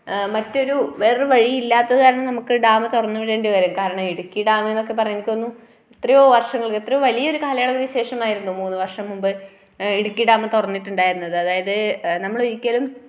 ആ മറ്റൊരു വേറെ വഴിയില്ലാത്തത്‌ കാരണം നമുക്ക് ഡാമു തുറന്നു വിടേണ്ടി വരും കാരണം ഇടുക്കി ഡാമുന്നൊക്കെ പറഞ്ഞു എനിക്ക് തോന്നുന്നു. എത്രയോ വർഷങ്ങൾ എത്രയോ വലിയൊരു കാലയളവിണ് ശേഷമായിരുന്നു മൂന്നു വർഷം മുമ്പ് ഇടുക്കി ഡാമു തുറന്നിട്ടുണ്ടായത് അതായതു നമ്മള് ഒരിക്കലും